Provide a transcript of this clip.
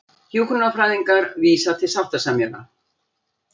Hjúkrunarfræðingar vísa til sáttasemjara